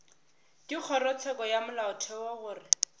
go kgorotsheko ya molaotheo gore